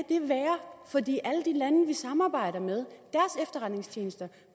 jeg i alle de lande vi samarbejder med